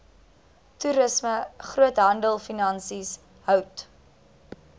toerisme groothandelfinansies hout